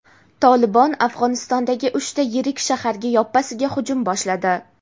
"Tolibon" Afg‘onistondagi uchta yirik shaharga yoppasiga hujum boshladi.